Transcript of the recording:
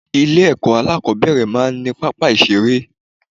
Ilé èkó alákòóbèrè máa ní pápá ìseré